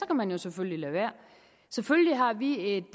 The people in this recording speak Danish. man jo selvfølgelig lade være selvfølgelig har vi et